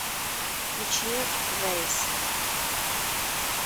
включи грейс